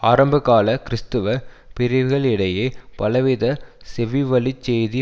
ஆரம்பகால கிறிஸ்தவ பிரிவுகளிடையே பலவித செவிவழிச் செய்தி